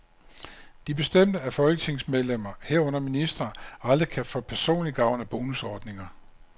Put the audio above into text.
De bestemte, at folketingsmedlemmer, herunder ministre, aldrig kan få personlig gavn af bonusordninger.